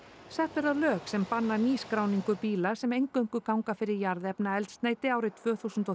sett verða lög sem banna nýskráningu bíla sem eingöngu ganga fyrir jarðefnaeldsneyti árið tvö þúsund og